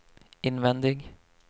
invändig